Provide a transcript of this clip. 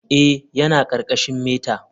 Eh, yana ƙarƙashin meta.